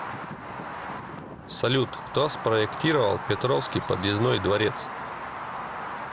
салют кто спроектировал петровский подъездной дворец